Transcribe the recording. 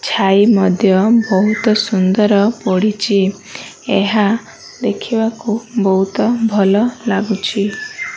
ଛାଇ ମଧ୍ୟ ବୋହୁତ ସୁନ୍ଦର ପଡ଼ିଚି ଏହା ଦେଖିବାକୁ ବୋହୁତ ଭଲ ଲାଗୁଛି।